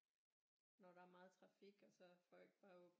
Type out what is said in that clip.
Når der er meget trafik og så folk bare åbner